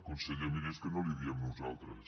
conseller miri és que no li ho diem nosaltres